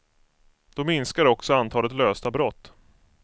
Då minskar också antalet lösta brott.